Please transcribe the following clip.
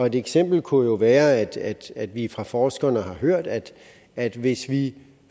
et eksempel kunne jo være at at vi fra forskerne har hørt at at hvis vi